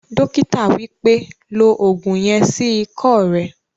Dókítà wípẹ́, "lo ògùn yen sí ikọ́ rẹ